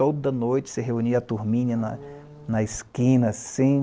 Toda noite se reunia a turmina na, hm, na esquina, assim.